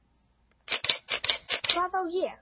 Hvað á ég?